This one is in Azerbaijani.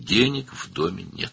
Evdə pul yoxdur.